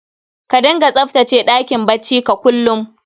Ka dinga tsaftace ɗakin bacci ka kullum